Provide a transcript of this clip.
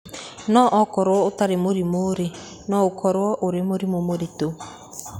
No ũkorũo ũtarĩ mũrimũ-rĩ, no ũkorũo ũrĩ mũrimũ mũritũ.